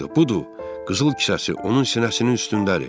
Budur, qızıl kisəsi onun sinəsinin üstündədir.